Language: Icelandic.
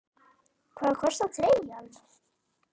Hvað kostar treyjan?